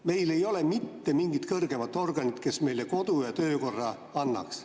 Meil ei ole mitte mingit kõrgemat organit, kes meile kodu‑ ja töökorra annaks.